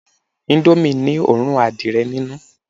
Indomie ni òórùn adìẹ ninu